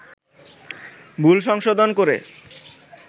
ভুল সংশোধন করে